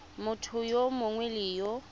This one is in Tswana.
motho yo mongwe le yo